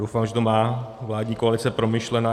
Doufám, že to má vládní koalice promyšleno.